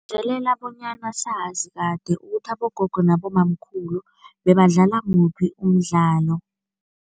Bonyana sazi kade ukuthi abogogo nabobamkhulu bebadlala muphi umdlalo.